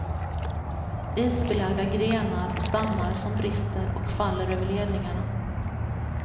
Isbelagda grenar och stammar som brister och faller över ledningarna.